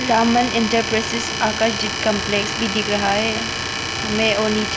Raman enterprises Akash Deep complex भी दिख रहा हैं हमे और नीचे--